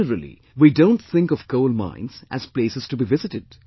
Generally we don't think of coal mines as places to be visited